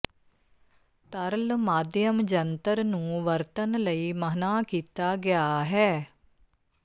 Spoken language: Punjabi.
ਤਰਲ ਮਾਧਿਅਮ ਜੰਤਰ ਨੂੰ ਵਰਤਣ ਲਈ ਮਨ੍ਹਾ ਕੀਤਾ ਗਿਆ ਹੈ